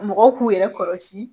Mɔgɔw k'u yɛrɛ kɔrɔsi